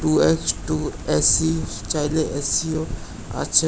Two X two AC চাইলে এসিও আছে।